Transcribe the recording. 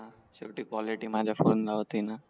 शेवटी माझ्या फोन ला होती ना